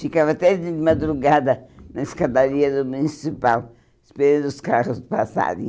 Ficava até de madrugada na escadaria do Municipal, esperando os carros passarem.